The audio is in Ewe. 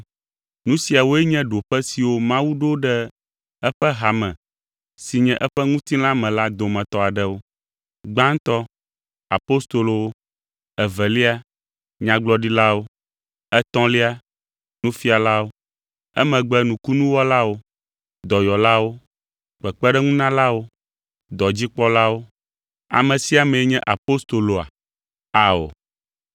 Nu siawoe nye ɖoƒe siwo Mawu ɖo ɖe eƒe hame si nye eƒe ŋutilã me la dometɔ aɖewo. Gbãtɔ, apostolowo; evelia, nyagblɔɖilawo; etɔ̃lia, nufialawo; emegbe nukunuwɔlawo, dɔyɔlawo, kpekpeɖeŋunalawo, dɔdzikpɔlawo, ame siwo ƒoa nu kple gbegbɔgblɔ bubu ƒomeviwo.